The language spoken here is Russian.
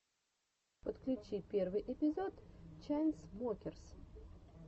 подключи первый эпизод чайнсмокерс